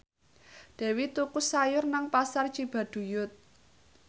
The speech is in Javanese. Dewi tuku sayur nang Pasar Cibaduyut